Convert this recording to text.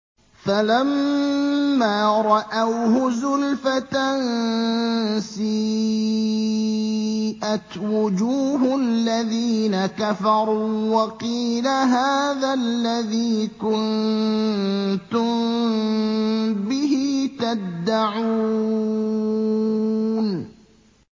فَلَمَّا رَأَوْهُ زُلْفَةً سِيئَتْ وُجُوهُ الَّذِينَ كَفَرُوا وَقِيلَ هَٰذَا الَّذِي كُنتُم بِهِ تَدَّعُونَ